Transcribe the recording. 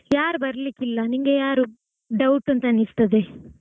ಯಾರು ಬರಲಿಕ್ಕಿಲ್ಲ ನಿಂಗೆ ಯಾರು doubt ಅಂತ ಅನ್ನಿಸ್ತದೆ?